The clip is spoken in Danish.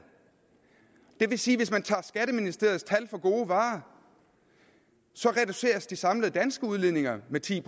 det vil sige at hvis man tager skatteministeriets tal for gode varer reduceres de samlede danske udledninger med ti